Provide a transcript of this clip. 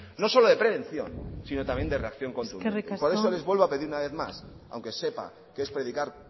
no solo de prevención sino también de reacción contundentes por eso les vuelvo a pedir una vez más aunque sepa que es predicar